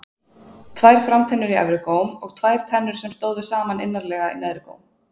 Tvær framtennur í efri góm og tvær tennur sem stóðu saman innarlega í neðri góm.